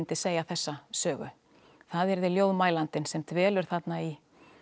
segja þessa sögu það yrði ljóðmælandinn sem dvelur þarna í